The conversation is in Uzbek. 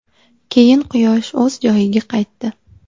Keyin quyosh o‘z joyiga qaytdi.